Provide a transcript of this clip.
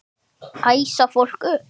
Æsa fólk upp?